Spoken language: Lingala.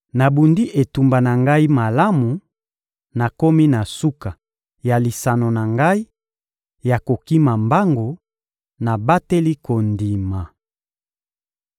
Nabundi etumba na ngai malamu, nakomi na suka ya lisano na ngai ya kokima mbangu, nabateli kondima.